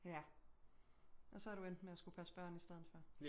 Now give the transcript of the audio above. Ja og så er du endt med at skulle passe børn i stedet for